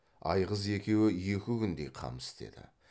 айғыз екеуі екі күндей қам істеді